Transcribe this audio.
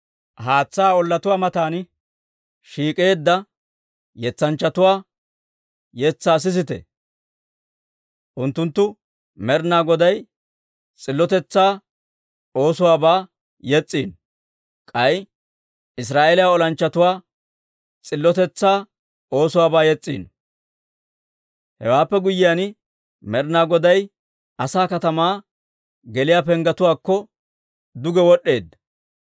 Haatsaa ollatuwaa matan shiik'eedda yetsanchchatuwaa yetsaa sisite. Unttunttu Med'inaa Goday s'illotetsaa oosuwaabaa yes's'iino; k'ay Israa'eeliyaa olanchchatuwaa s'illotetsaa oosuwaabaa yes's'iino. «Hewaappe guyyiyaan, Med'inaa Godaa asay katamaa geliyaa penggetuwaakko duge wod'd'eedda.